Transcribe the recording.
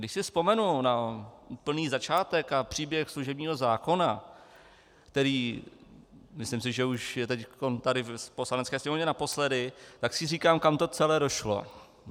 Když si vzpomenu na úplný začátek a příběh služebního zákona, který, myslím si, že už je teď tady v Poslanecké sněmovně, naposledy, tak si říkám, kam to celé došlo.